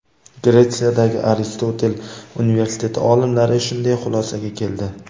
Gretsiyadagi Aristotel universiteti olimlari shunday xulosaga keldi.